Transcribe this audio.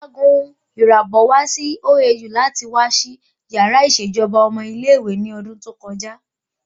Ọ̀gágun Irabor wá sí OAU láti wá ṣí yàrá ìṣèjọba ọmọ ilé ìwé ní ọdún tó kọjá